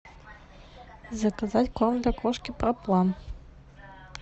заказать корм для кошки проплан